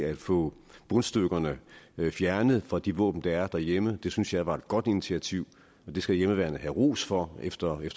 at få bundstykkerne fjernet fra de våben der er derhjemme det synes jeg er et godt initiativ det skal hjemmeværnet have ros for efter